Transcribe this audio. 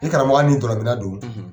I karamɔgɔ hali ni dɔlɔmina don